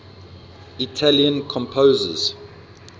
italian composers